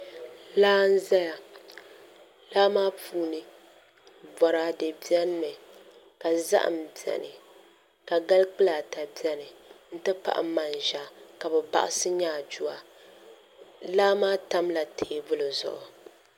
Laa n ʒɛya laa maa puuni boraadɛ biɛni mi ka zaham biɛni mi ka gali kpulaa ata biɛni n ti pahi manʒa ka bi ka bi baɣasi nyaaduwa laa maa tamla teebuli zuɣu